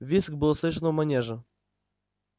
визг был слышен у манежа